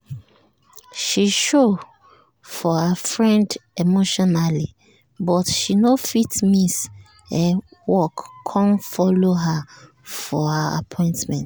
she show for her friend emotionally um but she no fit miss um work con follow her for her appointment